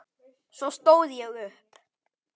Svo stóð ég upp.